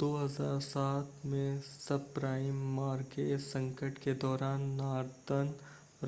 2007 में subprime mortgage संकट के दौरान नॉर्दर्न